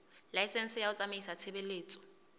laesense ya ho tsamaisa tshebeletso